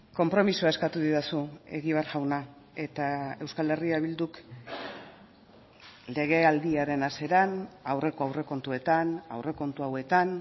konpromisoa eskatu didazu egibar jauna eta euskal herria bilduk legealdiaren hasieran aurreko aurrekontuetan aurrekontu hauetan